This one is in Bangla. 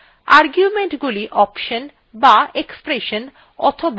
argumentগুলি অপশন be expression অথবা file names হতে পারে